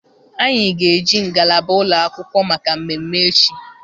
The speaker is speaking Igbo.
Anyị ga-eji ngalaba ụlọ akwụkwọ maka mmemme echi.